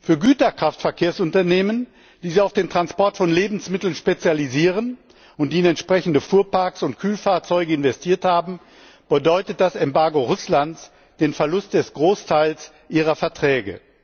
Für Güterkraftverkehrsunternehmen, die sich auf den Transport von Lebensmitteln spezialisieren und in entsprechende Fuhrparks und Kühlfahrzeuge investiert haben, bedeutet das Embargo Russlands den Verlust des Großteils ihrer Verträge.